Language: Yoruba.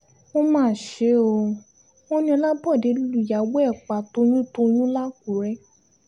ó mà ṣe o wọ́n ní ọlábòde lùyàwó ẹ̀ pa toyúntoyún làkúrẹ́